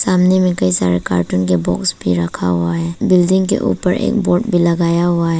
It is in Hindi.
सामने में कई सारा कार्टून के बॉक्स भी रखा हुआ है बिल्डिंग के ऊपर एक बोर्ड भी लगाया हुआ है।